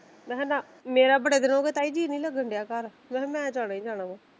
ਮੈਂ ਕਿਹਾ ਨਾ ਮੇਰਾ ਬੜਾ ਦਿਨ ਹੋ ਗਿਆ ਜੀਅ ਨੀ ਲੱਗਣਡੀਆ ਘਰ ਮੈਂ ਕਿਹਾ ਮੈਂ ਜਾਣਾ ਹੀ ਜਾਣਾ ਆ।